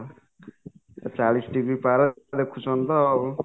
ଚାଳିଶି degree ପାରେ ଲେଖୁଛନ୍ତି ତ ଆଉ